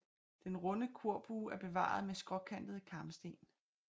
Den runde korbue er bevaret med skråkantede karmsten